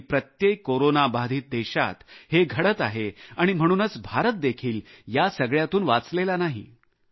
जगातील प्रत्येक कोरोना बाधित देशात हे घडत आहे आणि म्हणूनच भारत देखील या सगळ्यातून वाचलेला नाही